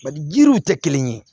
Bari yiriw tɛ kelen ye